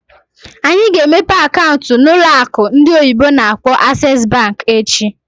Anyị ga-emepe akaụntụ na ụlọ akụ ndị oyibo n'akpọ "Access Bank" echi.